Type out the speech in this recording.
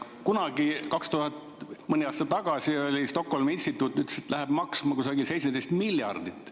Kunagi, mõni aasta tagasi Stockholmi instituut ütles, et see läheb maksma kusagil 17 miljardit.